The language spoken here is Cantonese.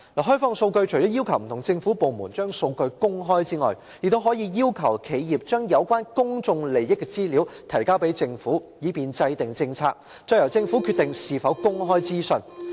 《開放數據法》除了要求不同政府部門公開數據外，還可以要求企業將有關公眾利益的資料提交政府，以便制訂政策，再由政府決定是否把資料公開。